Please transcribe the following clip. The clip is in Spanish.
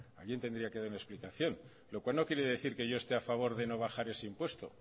alguien tendría que dar una explicación lo cual no quiere decir que yo esté a favor de no bajar ese impuesto